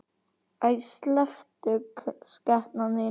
Æi, slepptu skepnan þín!